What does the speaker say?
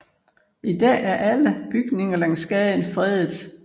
I dag er alle bygninger langs gaden fredet